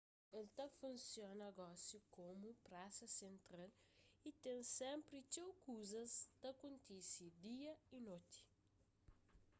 el ta funsiona gosi komu prasa sentral y ten sénpri txeu kuzas ta kontise dia y noti